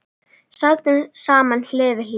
Sátum saman hlið við hlið.